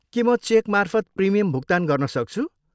के म चेकमार्फत प्रिमियम भुक्तान गर्न सक्छु?